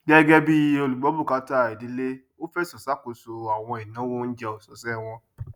gẹgẹ bí olùgbọbùkátà ìdílé ó fẹsọ ṣàkóso àwọn ìnáwó oúnjẹ ọsọsẹ wọn